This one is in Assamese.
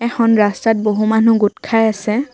এখন ৰাস্তাত বহু মানুহ গোটখাই আছে।